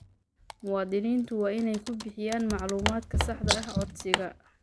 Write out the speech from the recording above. Muwaadiniintu waa inay ku bixiyaan macluumaadka saxda ah codsiga.